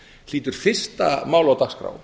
hlýtur fyrsta málið á dagskrá